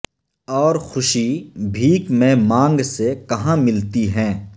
اور خوشی بھیک میں مانگ سے کہاں ملتی ہیں